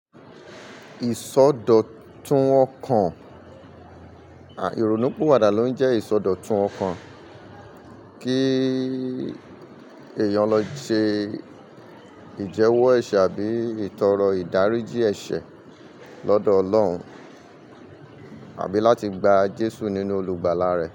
Ìsọdọ̀tun ọkàn, ìronúpinwàdà ló ńjẹ ìsọdọ̀tun ọkàn, kí èyàn lọ shey ìjẹ́wọ́ ẹ̀ṣẹ̀ àbí ìtọrọ ìdáríjì ẹ̀ṣẹ̀ lọ́dọ̀ ọlọ́run. Àbí láti gba Jesu ní olùgbàlà rẹ̀.